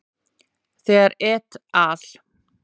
Þegar et al.